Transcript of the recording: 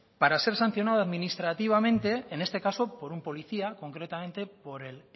para ser sancionado administrativamente en este caso por un policía concretamente por el